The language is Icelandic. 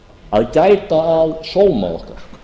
að gæta að sóma okkar